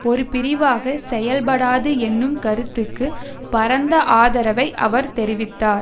ஒரு பிரிவாக செயல்படாது என்னும் கருத்துக்கு பரந்த ஆதரவை அவர் தெரிவித்தார்